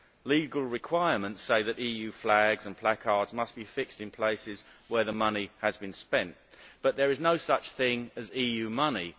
Legal requirements say that EU flags and placards must be fixed in places where the money has been spent, but there is no such thing as EU money.